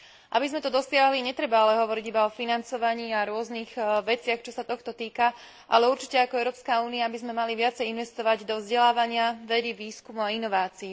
Aby sme to dosiahli netreba ale hovoriť iba o financovaní a rôznych veciach, čo sa tohto týka, ale určite ako Európska únia by sme mali viacej investovať do vzdelávania, vedy, výskumu a inovácií.